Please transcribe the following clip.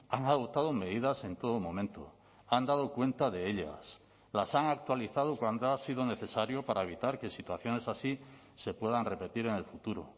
han adoptado medidas en todo momento han dado cuenta de ellas las han actualizado cuando ha sido necesario para evitar que situaciones así se puedan repetir en el futuro